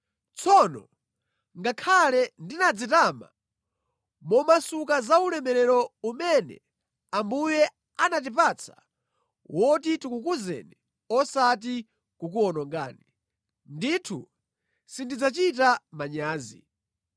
Tsono ngakhale nditadzitama momasuka za ulamuliro umene Ambuye anatipatsa woti tikukuzeni osati kukuwonongani, ndithu sindidzachita manyazi.